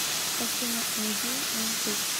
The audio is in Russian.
афина эмди на ютуб